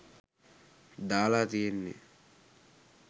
දාලා තියෙන්නේ.